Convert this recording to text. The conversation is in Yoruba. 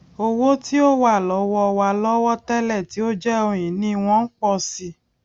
owo ti o wa lowo wa lowo télè tí ó jé ohun ìní wọn n po si i